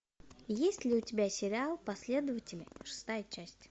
есть ли у тебя сериал последователи шестая часть